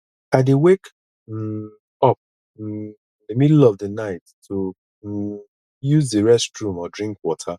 i dey wake um up um in the middle of the night to um use the restroom or drink water